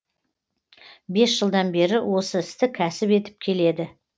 бес жылдан бері осы істі кәсіп етіп келеді